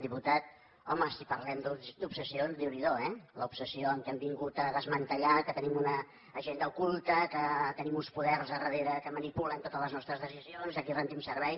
diputat home si parlem d’obsessions déu n’hi do eh l’obsessió que hem vingut a desmantellar que tenim una agenda oculta que tenim uns poders al darrere que manipulen totes les nostres decisions i als quals rendim servei